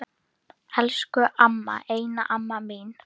Elsku amma, eina amma mín.